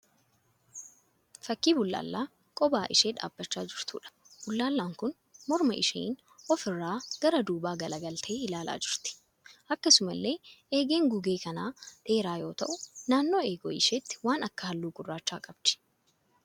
Fakkii bullaallaa kophaa ishee dhaabbachaa jirtuudha. Bullaallaan kun morma isheen ofi irra gara duubaa gala galtee ilaalaa jirti. Akkasumallee eegeen gugee kanaa dheeraa yoo ta'u naannoo eegee isheetii waan akka halluu gurraachaa qabdi.